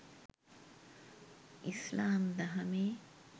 ඉස්ලාම් දහමේ